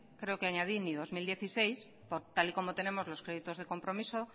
creo que añadí ni dos mil dieciséis por tal y como tenemos los créditos de compromiso